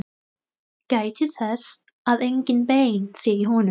Gætið þess að engin bein séu í honum.